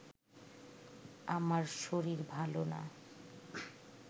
আমার শরীর ভালো না